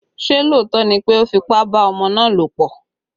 Ṣé lóòótọ́ ni pé o fipá bá ọmọ náà lòpọ̀?